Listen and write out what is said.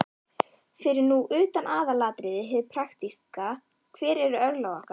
Fyrir nú utan aðalatriðið, hið praktíska: Hver eru örlög okkar?